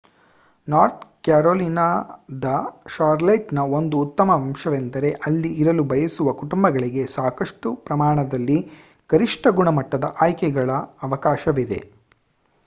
north ಕ್ಯಾರೋಲಿನಾದ ಷಾರ್ಲೆಟ್‌ನ ಒಂದು ಉತ್ತಮ ಅಂಶವೆಂದರೆ ಅಲ್ಲಿ ಇರಲು ಬಯಸುವ ಕುಟುಂಬಗಳಿಗೆ ಸಾಕಷ್ಟು ಪ್ರಮಾಣದಲ್ಲಿ ಶ್ರೇಷ್ಠ ಗುಣಮಟ್ಟದ ಆಯ್ಕೆಗಳ ಅವಕಾಶವಿದೆ